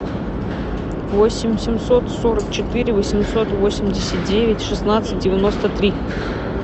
восемь семьсот сорок четыре восемьсот восемьдесят девять шестнадцать девяносто три